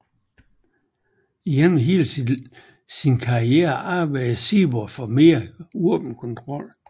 Igennem hele sin karriere arbejdede Seaborg for mere våbenkontrol